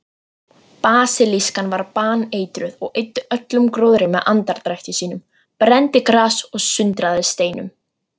Basilískan var baneitruð og eyddi öllum gróðri með andardrætti sínum, brenndi gras og sundraði steinum.